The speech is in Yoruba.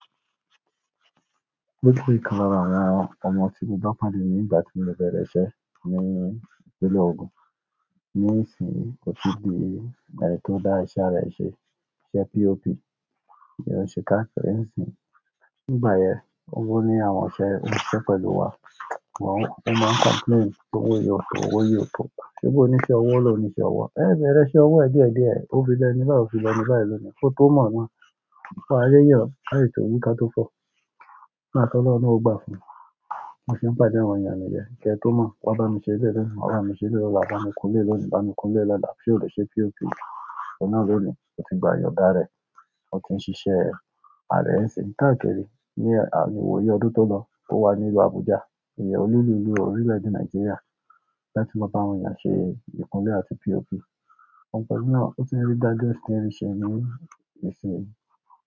O si kan lára àwọn ọmọ tí mo bá pàdé nígbà tí mo bẹ́ rẹ ṣẹ́ ní ìpínlẹ̀ Ogun. Nísìí, kò tí ì di ìgbà tí ó dá èṣe ààra enṣe, iṣẹ́ POP, ìyẹn ṣe káàkiri ìsìn. Nígbà yẹn, owó ní àwọn iṣẹ́ tó n ṣiṣẹ́ pẹ̀lú wa. Ṣùgbọ́n wọ́n máa n complain pé owó yẹn o tó owó yẹn ò tó. Ṣé bó o níṣe ọwọ́ o lóhun níṣẹ́ ọwó. Ẹ́ bẹ̀rẹ̀ ṣe owó ẹ̀díẹ̀díẹ̀, ó ti bẹ nígbà, ó ti lọ nígbà ẹlẹ́ni. Ó tó mọ̀ mọ́, pa ayé yí ọ, láì ṣe òwú ká tó fọ. Láti lọ́nà ọgbà fún un. Mo sì ń pàdé àwọn èèyàn níyẹn. Kí ẹ tó mọ̀, wá bá mi ṣe ilé lẹ́rú, wá bá mi ṣe ilé ọlá, bá mi kun ilé lónìí, bá mi kun ilé lọ́la, kí ó le ṣe POP. Ọ̀nà lónìí, ó ti gba ìyọ̀ndá rẹ̀, ó ti ń ṣiṣẹ́. Ààrẹ ẹ̀sìn, káàkirí, ní à ìwòyí ọdún tó lọ, ó wà nílùú Abuja. Ìyẹn olú ìlú, orílẹ̀-èdè Nàìjíríà. Láti lọ bá àwọn èèyàn ṣe ìkunlé àti POP. Ọ̀pọ̀ ọdún náà, ó ti ń rí dájú ẹ̀ṣin rẹ̀ ṣe ní ìsìn.